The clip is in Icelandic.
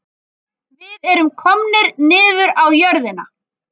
Við erum komnir niður á jörðina